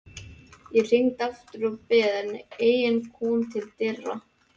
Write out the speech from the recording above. Ég hringdi aftur og beið, en enginn kom til dyra.